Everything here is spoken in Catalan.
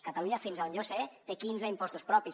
catalunya fins a on jo sé té quinze impostos propis